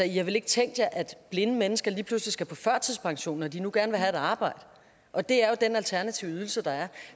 i har vel ikke tænkt jer at blinde mennesker lige pludselig skal på førtidspension når de nu gerne vil have et arbejde og det er jo den alternative ydelse der er